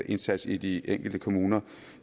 indsats i de enkelte kommuner